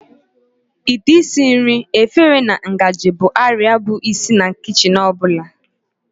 Ite esi nri, efere na ngaji bụ arịa bụ isi na kichin ọ bụla.